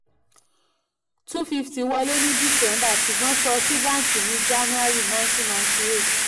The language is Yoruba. two fifty wọlé ní December ṣùgbọ́n san sí bánkì ní January nineteen ninety eight.